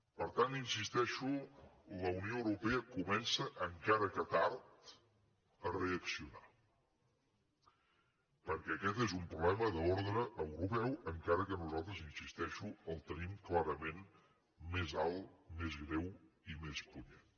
per tant hi insisteixo la unió europea comença encara que tard a reaccionar perquè aquest és un problema d’ordre europeu encara que nosaltres hi insisteixo el tenim més clarament més alt més greu i més punyent